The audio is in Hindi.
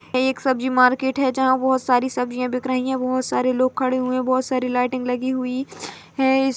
एक सब्जी मारकेट हैं जहाँ बहोत सारे सब्जिया बिक रही हैं बहोत सारे लोग खड़े हुए हैं बहोत सारी लाइटिंग लगी हुई हैं।